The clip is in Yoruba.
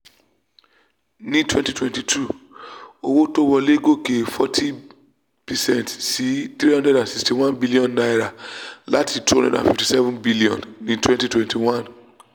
ní twenty twenty two fy owó tó wolè gòkè forty percent sí n three hundred sixty one billion láti n two hundred fifty seven billion ní twenty twenty one.